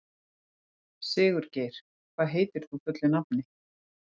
Sigurgeir, hvað heitir þú fullu nafni?